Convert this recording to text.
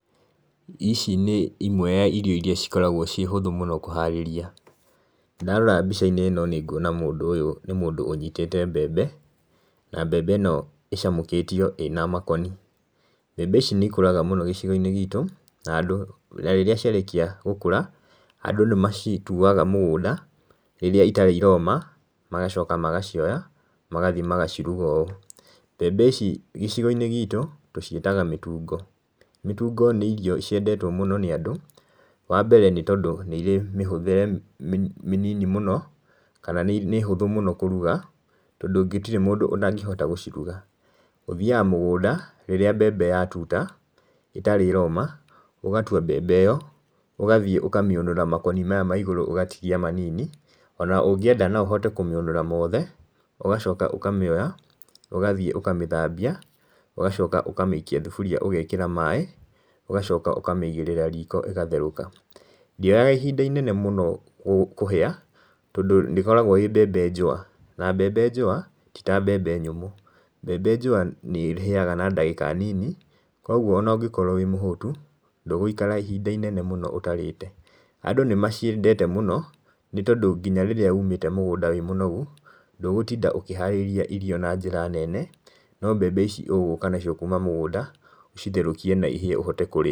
Ici nĩ imwe ya irio iria cikoragwo cie hũthũ kũharĩria, na ndarora mbica inĩ ĩno nĩ gũona mũndũ ũyũ nĩ mũndũ ũnyitĩte mbembe, na mbembe ĩno ĩcamũkĩtio ĩna makoni. Mbembe ici nĩ ikũraga mũno gĩcigo inĩ gĩtũ, na andũ na rĩrĩa ciarĩkĩa gũkũra andũ nĩ macitũaga mũgũnda rĩrĩa ĩtarĩ ĩrooma, magacoka magacie oya magathĩe magacirũga ũũ. Mbembe ici gĩcigo inĩ gĩtũ tũcietaga mĩtũngo, mĩtũngo nĩ ĩrĩo ciendetwo mũno nĩ andũ wa mbere nĩ tondũ nĩ irĩ mĩhũthĩre mĩnini mũno, kana nĩ ihũthũ mũno kũrũga tondũ gũtĩre mũndũ ũtagĩhota gũcirũga, ũthĩaga mũgũnda rĩrĩa mbembe yatuta ĩtarĩ ĩroma ũgatũa mbembe ĩyo ũgathĩe ũkamĩũnũra makonĩ maya ma igũrũ ũgatĩgĩa manini, ona ũngĩenda no ũhote kũmĩũnũra mothe ũgacoka ũkamĩoya ũgathie ũkamĩthambia ũgacoka ũkamĩikĩa thũbũria ũgaekera maĩ ũgacoka ũkamĩigĩrĩra riko ĩgatherũka. Ndĩ oyaga ihinda inene mũno kũhĩa tondũ nĩ ĩkoragwo ĩ mbembe njũwa, na mbembe njũwa tĩ ta mbembe nyũmũ, mbembe njũwa nĩ ĩhĩaga na dagĩka nini kwogwo ona ũgĩkoro wĩ mũhũtundũgũikara ihinda ihinda inene mũno ũtarĩte. Andũ nĩmaciendete mũno nĩ tondũ ngĩnya rĩrĩra ũmĩte mũgũnda wĩ mũnogũ, ndũgũtinda ũkĩharĩrĩa irio na njĩra nene no mbembe ici ũgũka nacio kũma mũgũnda, ũcitherũkĩe na ihĩe ũhote kũrĩa.